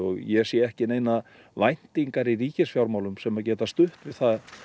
ég sé ekki neinar væntingar í ríkisfjármálum sem geta stutt við